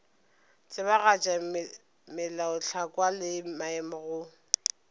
tsebagatša melaotlhakwa le maemo go